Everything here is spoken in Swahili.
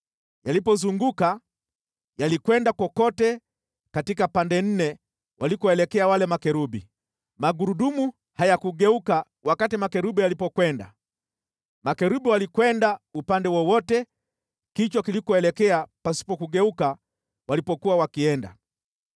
Yalipozunguka, yalikwenda kokote katika pande nne walikoelekea wale makerubi. Magurudumu hayakugeuka wakati makerubi yalipokwenda. Makerubi walikwenda upande wowote kichwa kilikoelekea pasipo kugeuka walipokuwa wakienda.